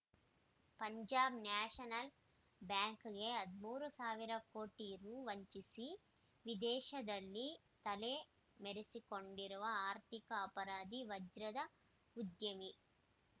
Punjab national ಬ್ಯಾಂಕ್‌ಗೆ ಹದಿಮೂರು ಸಾವಿರ ಕೋಟಿ ರೂ ವಂಚಿಸಿ ವಿದೇಶದಲ್ಲಿ ತಲೆ ಮರೆಸಿಕೊಂಡಿರುವ ಆರ್ಥಿಕ ಅಪರಾಧಿ ವಜ್ರದ ಉದ್ಯಮಿ